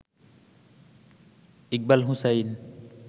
Iqbal Hussain